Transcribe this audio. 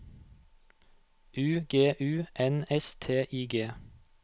U G U N S T I G